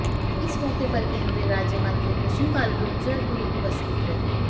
इस मौके पर केन्द्रीय राज्यमंत्री कृष्णपाल गूर्जर भी उपस्थित रहे